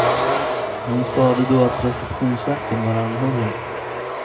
Hon sade då att receptionsvakten var anhållen.